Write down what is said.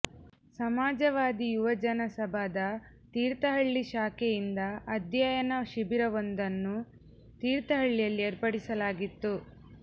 ಸಮಾಜವಾದಿ ಯುವಜನ ಸಭಾದ ತೀರ್ಥಹಳ್ಳಿ ಶಾಖೆಯಿಂದ ಅಧ್ಯಯನ ಶಿಬಿರವೊಂದನ್ನು ತೀರ್ಥಹಳ್ಳಿಯಲ್ಲಿ ಏರ್ಪಡಿಸಲಾಗಿತ್ತು